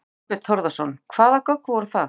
Þorbjörn Þórðarson: Hvaða gögn voru það?